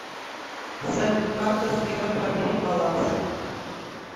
салют карта сбера проверить баланс